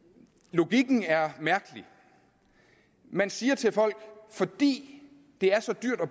logikken er mærkelig man siger til folk at fordi det er så dyrt at